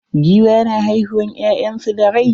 Giwa na haihiuwan ƴyansu da rai.